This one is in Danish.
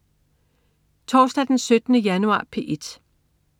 Torsdag den 17. januar - P1: